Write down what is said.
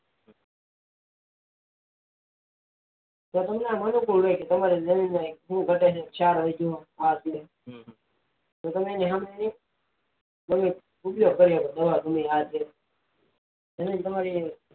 જમીન તમારે અનુકુળ હોય છે તમારી જમીન ક્ષાર હોય છે આ છ તો તમારે જમી જમીન તમારી